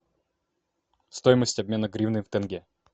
стоимость обмена гривны в тенге